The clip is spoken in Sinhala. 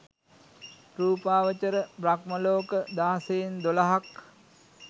රූපාවචර බ්‍රහ්මලෝක දහසයෙන් දොළහක්.